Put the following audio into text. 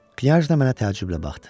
Knya mənə təəccüblə baxdı.